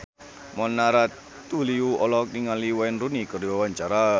Mona Ratuliu olohok ningali Wayne Rooney keur diwawancara